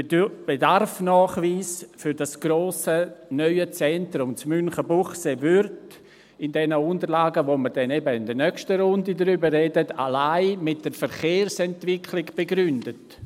Der Bedarfsnachweis für das grosse, neue Zentrum in Münchenbuchsee wird in den Unterlagen, über die wir dann eben in der nächsten Runde sprechen, allein mit der Verkehrsentwicklung begründet.